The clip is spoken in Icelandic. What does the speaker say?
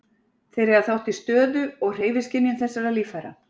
Þeir eiga þátt í stöðu- og hreyfiskynjun þessara líffæra.